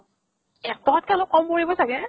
এক টকাত কে অলপ কম পৰিব চাগে।